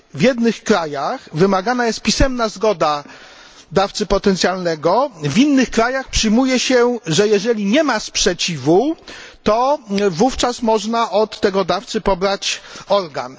W jednych krajach wymagana jest pisemna zgoda dawcy potencjalnego, w innych krajach przyjmuje się, że jeżeli nie ma sprzeciwu, to wówczas można od tego dawcy pobrać organ.